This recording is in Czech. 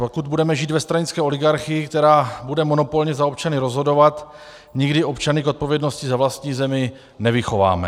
Pokud budeme žít ve stranické oligarchii, která bude monopolně za občany rozhodovat, nikdy občany k odpovědnosti za vlastní zemi nevychováme.